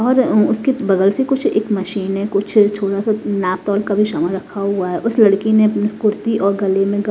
और उसके बगल से कुछ एक मशीन है कुछ थोड़ा सा नापतोल का भी सामान रखा हुआ है उस लड़की ने अपनी कुर्ती और गले में--